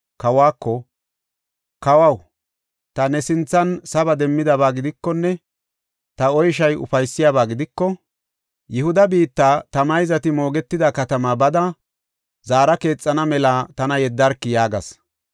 kawako, “Kawaw, ta ne sinthan saba demmidaba gidikonne ta oyshay ufaysiyabaa gidiko, Yihuda biitta, ta mayzati moogetida katamaa bada zaara keexana mela tana yeddarki” yaagas.